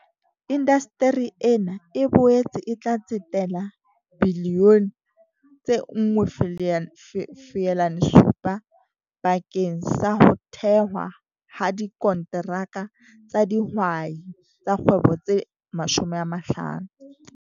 Indasteri ena e boetse e tla tsetela R1.7 bilione bakeng sa ho thehwa ha dikonteraka tsa dihwai tsa kgwebo tse 50.